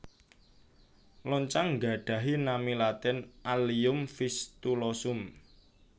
Loncang nggadhahi nami latin Allium Fistulosum